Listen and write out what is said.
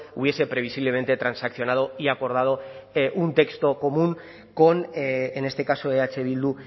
hubiese previsiblemente transaccionado y acordado un texto común con en este caso eh bildu